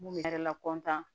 Mun bɛ yɛrɛ lakɔtan